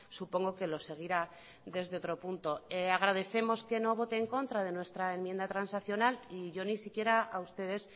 supongo que lo seguirá desde otro punto agradecemos que no vote en contra de nuestra enmienda transaccional y yo ni siquiera a ustedes